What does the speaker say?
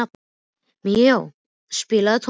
Míó, spilaðu tónlist.